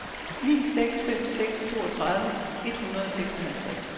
ni seks fem seks toogtredive et hundrede og seksoghalvtreds